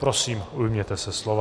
Prosím, ujměte se slova.